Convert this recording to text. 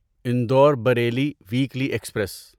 Indore Bareilly weekly express